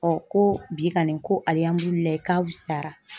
ko bi kɔni ko alila k'a wusa.